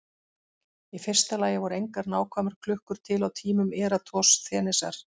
Í fyrsta lagi voru engar nákvæmar klukkur til á tímum Eratosþenesar.